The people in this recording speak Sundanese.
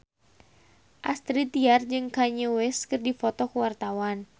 Astrid Tiar jeung Kanye West keur dipoto ku wartawan